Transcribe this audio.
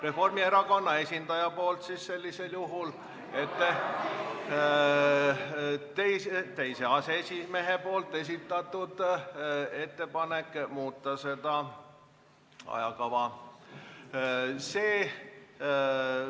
Reformierakonna esindaja ettepanek sellisel juhul ...... teise aseesimehe esitatud ettepanek seda ajakava muuta.